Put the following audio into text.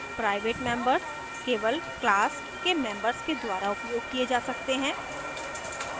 private members केवल class के members के द्वारा उपयोग किये जा सकते हैं